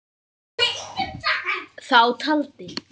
Þá taldi